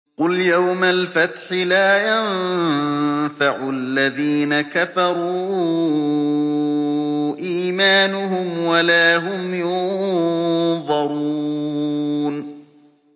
قُلْ يَوْمَ الْفَتْحِ لَا يَنفَعُ الَّذِينَ كَفَرُوا إِيمَانُهُمْ وَلَا هُمْ يُنظَرُونَ